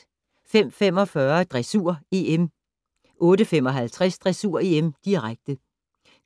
05:45: Dressur: EM 08:55: Dressur: EM, direkte